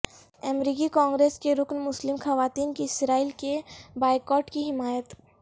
امریکی کانگریس کی رکن مسلم خواتین کی اسرائیل کے بائیکاٹ کی حمایت